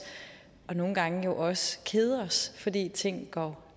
og nogle gange også kede os fordi ting går